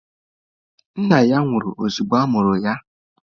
Nna ya nwụrụ ozugbo a mụrụ ya.